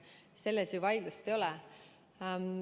Selle üle ju vaidlust ei ole.